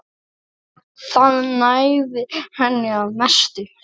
Það nægði henni að mestu.